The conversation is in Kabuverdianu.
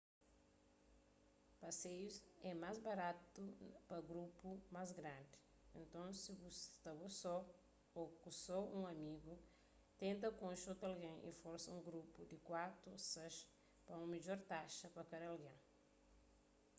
paseius é más baratu pa grupus más grandi nton si bu sta bo so ô ku só un amigu tenta konxe otu algen y forma un grupu di kuatu a sais pa un midjor taxa pa kada algen